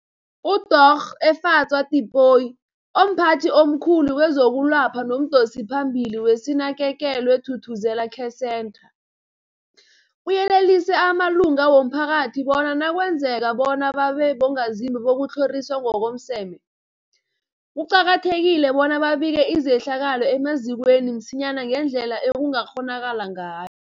UDorh Efadzwa Tipoy, omphathi omkhulu kezokwelapha nomdosiphambili weSinakekelwe Thuthuzela Care Centre, uyelelise amalunga womphakathi bona nakwenzekako bona babe bongazimbi bokutlhoriswa ngokomseme, kuqakathekile bona babike izehlakalo emazikweni msinyana ngendlela ekungakghonakala ngay